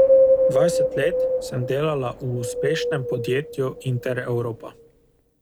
Dvajset let sem delala v uspešnem podjetju Interevropa.